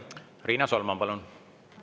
Riina Solman, palun!